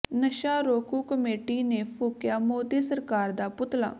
ਨਸ਼ਾ ਰੋਕੂ ਕਮੇਟੀ ਨੇ ਫੂਕਿਆ ਮੋਦੀ ਸਰਕਾਰ ਦਾ ਪੁਤਲਾ